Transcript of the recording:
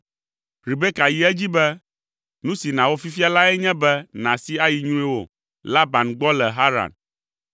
Rebeka yi edzi be, “Nu si nàwɔ fifia lae nye be nàsi ayi nyruiwò Laban gbɔ le Haran.